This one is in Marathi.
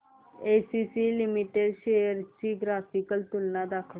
एसीसी लिमिटेड शेअर्स ची ग्राफिकल तुलना दाखव